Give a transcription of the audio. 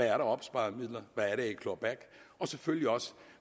er af opsparede midler hvad der er i claw back og selvfølgelig også